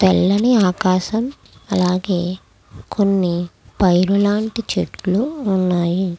తెల్లని ఆకాశం అలాగే కొన్ని పైరులాంటి చెట్లు ఉన్నాయి.